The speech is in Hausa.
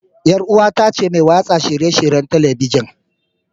Yar uwata ce mai watsa shirye-shiryen Talabijin.